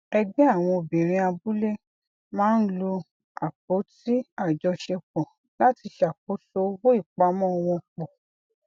ẹgbẹ àwọn obìnrin abúlé máa ń lo apótí àjọṣepọ láti ṣàkóso owó ìpamọ wọn pọ